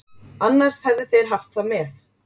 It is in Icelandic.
Annars hefðu þeir haft það með.